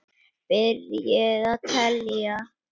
Byrjið að telja.